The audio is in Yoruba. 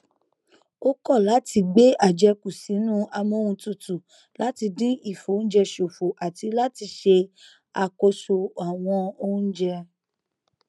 ó kọ láti gbé àjẹkù sínú amóhuntutù láti dín ìfioúnjẹ ṣòfò àti láti ṣe àkóso ọwọn oúnjẹ